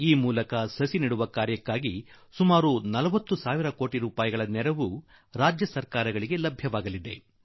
ಇದರಿಂದಾಗಿ ವೃಕ್ಷಾರೋಹಣಕ್ಕಾಗಿ ಸುಮಾರು 40 ಸಾವಿರ ಕೋಟಿ ರೂಪಾಯಿಗೂ ಹೆಚ್ಚು ಹಣ ರಾಜ್ಯಗಳಿಗೆ ದೊರಕಲಿದೆ